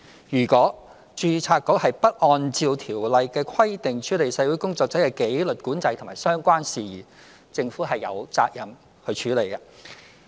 如果註冊局不按照《條例》的規定處理社會工作者的紀律管制及相關事宜，政府便有責任去處理。